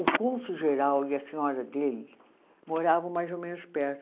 O cônsul geral e a senhora dele moravam mais ou menos perto.